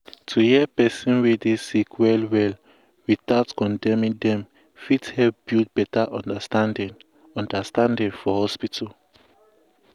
to hear person wey dey sick well well without condemning dem fit help build beta understanding understanding for hospital.